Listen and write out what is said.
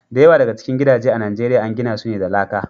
Da yawa daga cikin gidaje a Nijeriya an gina su ne da laka.